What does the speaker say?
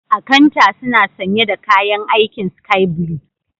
Akanta suna sanye da kayan aikin Sky blue.